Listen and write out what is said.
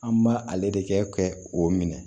An b'a ale de kɛ ka o minɛ